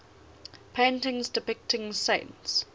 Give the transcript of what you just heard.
paintings depicting saints